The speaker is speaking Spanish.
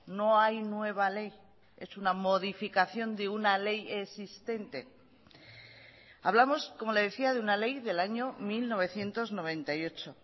no hay nueva ley es una modificación de una ley existente hablamos como le decía de una ley del año mil novecientos noventa y ocho